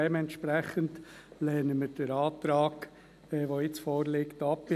Dementsprechend lehnen wir den hier vorliegenden Antrag ab.